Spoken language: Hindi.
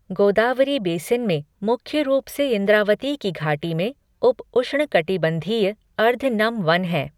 गोदावरी बेसिन में, मुख्य रूप से इंद्रावती की घाटी में, उप उष्णकटिबंधीय, अर्ध नम वन हैं।